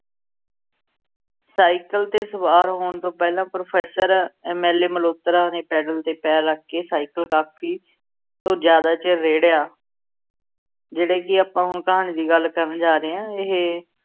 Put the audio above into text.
Cycle ਤੇ ਸਵਾਰ ਹੋਣ ਤੋਂ ਪਹਿਲਾਂ professor MLA malhotra ਨੇ ਪੈਡਲ ਤੇ ਪੈਰ ਰੱਖ ਕੇ ਸਾਈਕਲ ਕਾਫੀ ਤੋਂ ਜ਼ਿਆਦਾ ਚਿਰ ਰੇੜ੍ਹਿਆ। ਜਿਹੜੇ ਕਿ ਆਪਾਂ ਹੁਣ ਕਹਾਣੀ ਦੀ ਗੱਲ ਕਰਨ ਜਾ ਰਹੇ ਹਾਂ ਇਹ